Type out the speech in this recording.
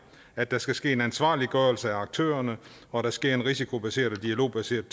at der skal ske en ansvarliggørelse af aktørerne og at der sker en risikobaseret og dialogbaseret